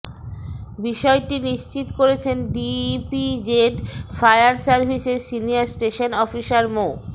বিষয়টি নিশ্চিত করেছেন ডিইপিজেড ফায়ার সার্ভিসের সিনিয়র স্টেশন অফিসার মো